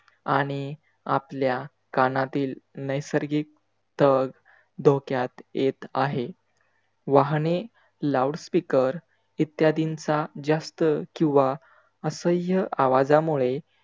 आणि आपल्या कानातील नैसर्गिक स्तर धोक्यात येत आहे. वाहने, loud speakers इद्यादिंचा जास्त किवा असह्य आवाजामुळे